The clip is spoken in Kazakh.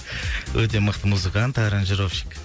өте мықты музыкант аранжировщик